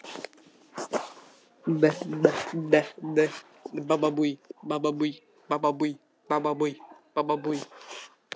Honum hafði sjálfum tekist að smeygja sér undir ábreiðuna.